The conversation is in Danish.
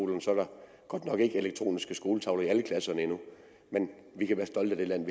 når nok ikke er elektroniske skoletavler i alle klasser endnu men vi kan være stolte af det land